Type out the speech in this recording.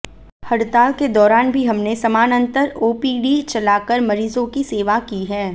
हड़ताल के दौरान भी हमने समानांतर ओपीडी चलाकर मरीजों की सेवा की है